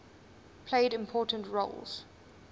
played important roles